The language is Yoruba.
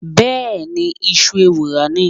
Bẹ́ẹ̀ni, ìṣù ewùrà ni.